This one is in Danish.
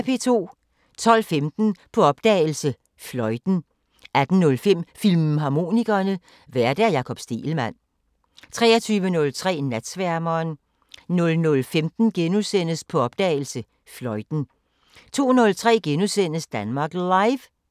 12:15: På opdagelse – Fløjten 18:05: Filmharmonikerne: Vært Jakob Stegelmann 23:03: Natsværmeren 00:15: På opdagelse – Fløjten * 02:03: Danmark Live *